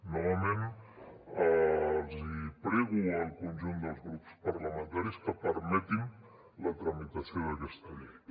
novament els hi prego al conjunt dels grups parlamentaris que permetin la tramitació d’aquesta llei